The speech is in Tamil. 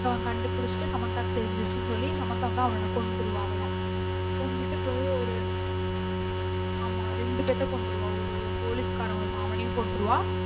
அப்றம் கண்டுபிடிச்சிட்டு சமந்தாவுக்கும் தெரிஞ்சிருச்சின்னு சொல்லி சமைந்தா வந்து அவன கொன்றுவா அவள. கொன்னுட்டு போய் ஒரு ஆமா ரெண்டுபேத்த கொன்றுவா ஓர் ஒரு police காரன் வருவான் அவனையும் கொன்றுவா.